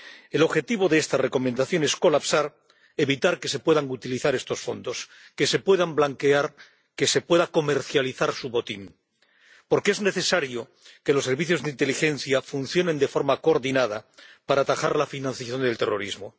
El objetivo de esta Recomendación es colapsar, evitar que se puedan utilizar estos fondos, que se puedan blanquear, que se pueda comercializar su botín, porque es necesario que los servicios de inteligencia funcionen de forma coordinada para atajar la financiación del terrorismo.